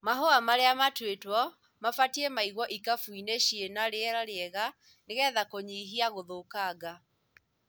Mahũa marĩa matuĩtwo mabatie maigwo ikabu cina riera rĩega nĩgetha kũnyia gũthũkanga.